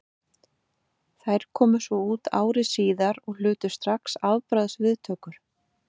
Þær komu svo út ári síðar og hlutu strax afbragðs viðtökur.